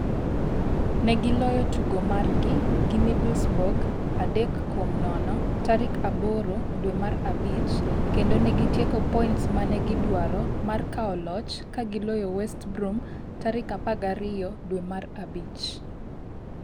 Negiloyo tugo margi gi Middlesbrough 3-0 tarik 8 dwe mar abich, kendo negitieko points mane gidwaro mar kawo loch ka giloyo West Brom tarik 12 dwe mar abich.